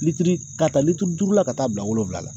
Litiri ka taa litiri duuru la ka t'a bila wolonwula la